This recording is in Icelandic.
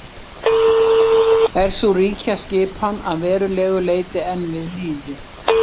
er sú ríkjaskipan að verulegu leyti enn við lýði